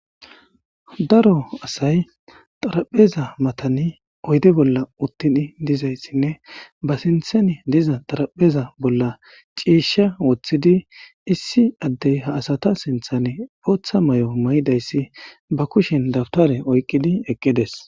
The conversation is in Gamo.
Daro asay xarapheza matani oyde bolla uttin dizayssinne ba sinthan diza xarapheza bolla ciishsha woththidi issi addey ha asata sinthane ooththa may7o maydayssi ba kushin dabtare oyqqidi eqqides.